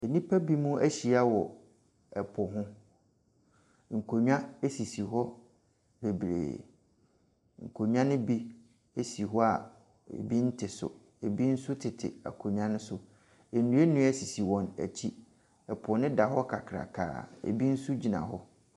Nnipa bi mo ahyia wɔ ɛpo ho. Nkonnwa esisi hɔ bebree. Nkonnwa no bi esi hɔ a obiara nnte so. Ebi nso tete akonnwa ne so. Nnuanua sisi wɔn akyi. Po no da hɔ kakrakaa ebi nso gyina hɔ.